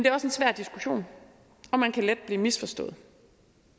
er også en svær diskussion og man kan let blive misforstået